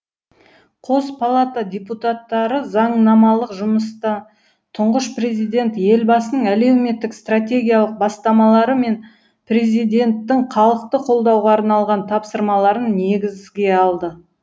қос палата депутаттары заңнамалық жұмыста тұңғыш президент елбасының әлеуметтік стратегиялық бастамалары мен президенттің халықты қолдауға арналған тапсырмаларын негізге алды